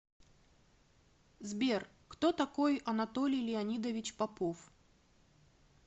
сбер кто такой анатолий леонидович попов